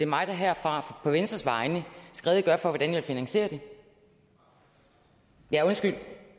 mig der herfra på venstres vegne skal redegøre for hvordan jeg vil finansiere det ja undskyld